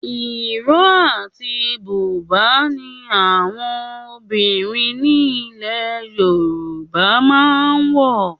Ìró àti buba ni àwọn obìnrin nílè Yorùbá máa ń wò.